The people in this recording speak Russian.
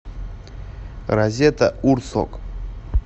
разета урсок